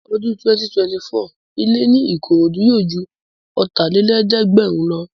Ní ọdún 2024, ilẹ́ ní Ìkòròdú yóò ju Ọ̀tàlélẹ̀ẹ́dẹ́gbẹ̀rin lọ